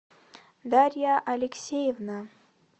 дарья алексеевна